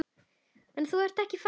En þú ert ekki farinn.